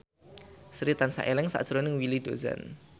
Sri tansah eling sakjroning Willy Dozan